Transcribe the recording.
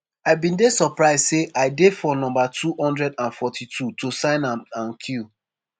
“i bin dey surprise say i dey for number 242 to sign am and queue